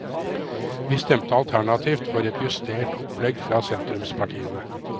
Vi stemte alternativt for et justert opplegg fra sentrumspartiene.